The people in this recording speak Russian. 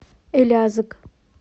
элязыг